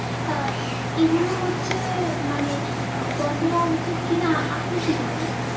আহ এগুলো হচ্ছে মানে বন্ধ হওয়া উচিত কি না আপনি কি বলেন?